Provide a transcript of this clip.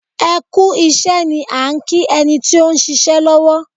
Ẹ kú iṣẹ́ ni à ń kí ẹni tí ó ń ṣiṣẹ́ lọ́wọ́